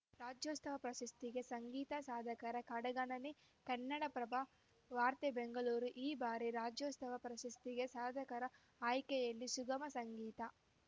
ರಾಜ್ಯೋತ್ಸವ ಪ್ರಶಸ್ತಿಗೆ ಸಂಗೀತ ಸಾಧಕರ ಕಡೆಗಣನೆ ಕನ್ನಡಪ್ರಭ ವಾರ್ತೆ ಬೆಂಗಳೂರು ಈ ಬಾರಿ ರಾಜ್ಯೋತ್ಸವ ಪ್ರಶಸ್ತಿಗೆ ಸಾಧಕರ ಆಯ್ಕೆಯಲ್ಲಿ ಸುಗಮ ಸಂಗೀತ